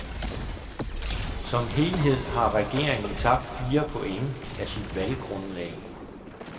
Som helhed har regeringen tabt fire points af sit valggrundlag.